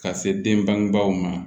Ka se den bangebaw ma